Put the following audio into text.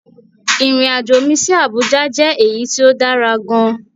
Irin-ajo mi si Abuja jẹ eyi ti o dara gaan